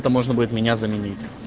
то можно будет меня заменить